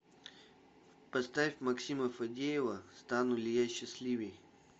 поставь максима фадеева стану ли я счастливей